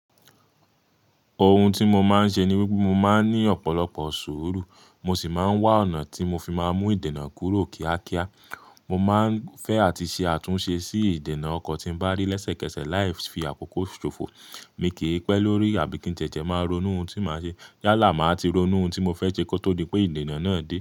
Ohun tí mo máa ń ṣe ni wípé mo máa ń ní ọ̀pọ̀lọpọ̀ sùúrù, mo sì máa ń wá ọ̀nà tí mo fi máa mú ìdènà kúrò kíákíá. Mo máa ń fẹ́ àti ṣe àtúnṣe sí ìdènà ọkọ̀ tí ń bá rí lẹ́sẹ̀kẹsẹ̀ láì fi àkókò ṣòfò. Èmi kì í pẹ́ lórí àbí kí n tẹ̀tẹ̀ máa ronú ohun tí màá ṣe. Yálà màá ti ronú ohun tí mo fẹ́ ṣe kó tó dí pé ìdènà náà dé.